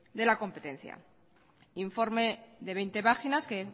de la competencia informe de veinte páginas que